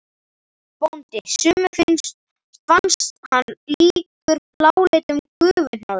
BÓNDI: Sumum fannst hann líkur bláleitum gufuhnoðra.